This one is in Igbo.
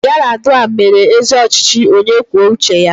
Yaradua mere ezi ọchịchị onye kwuo uche ya.